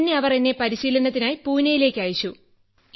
പിന്നെ അവർ എന്നെ പരിശീലനത്തിനായി പൂനെയിലേക്ക് അയച്ചു